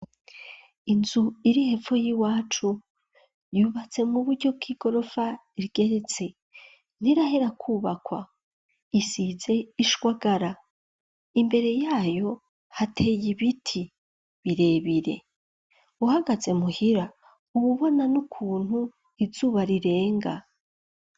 Inzu iri hepfo y'iwacu yubatse mu buryo bw'igorofa igeretse. Nirahera kubakwa, isize ishwagara. Imbere yayo hateye ibiti birebire, uhagaze muhira ububona n'ukuntu izuba rirenga.